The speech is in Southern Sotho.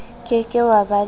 ke ke wa ba le